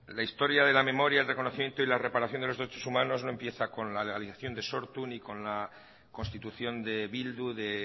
la historia de la memoria el reconocimiento y la reparación de los derechos humanos no empieza con la ilegalización de sortu ni con la constitución de bildu de